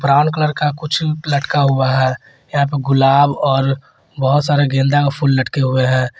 Brown colour का कुछ लटका हुआ है यहां पर गुलाब और बहुत सारे गेंदा का फूल लटके हुए है।